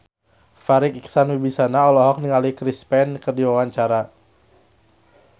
Farri Icksan Wibisana olohok ningali Chris Pane keur diwawancara